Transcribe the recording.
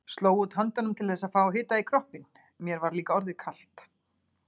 Sló út höndunum til þess að fá hita í kroppinn, mér var líka orðið kalt.